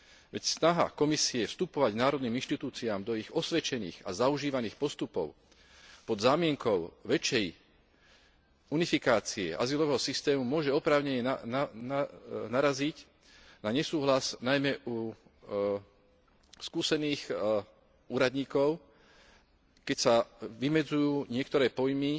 Veď snaha Komisie vstupovať národným inštitúciám do ich osvedčených a zaužívaných postupov pod zámienkou väčšej unifikácie azylového systému môže oprávnene naraziť na nesúhlas najmä u skúsených úradníkov, keď sa vymedzujú niektoré pojmy